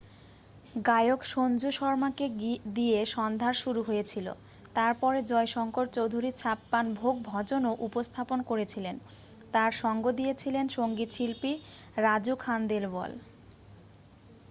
গায়ক সঞ্জু শর্মাকে দিয়ে সন্ধ্যার শুরু হয়েছিল তার পরে জয় শঙ্কর চৌধুরী ছাপ্পান ভোগ ভজনও উপস্থাপন করেছিলেন তার সঙ্গ দিয়েছিলেন সংগীতশিল্পী রাজু খানদেলওয়াল